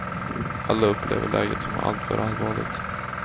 Alla upplever läget som alltför allvarligt.